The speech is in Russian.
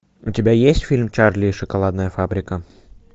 у тебя есть фильм чарли и шоколадная фабрика